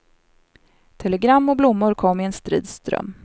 Telegram och blommor kom i en strid ström.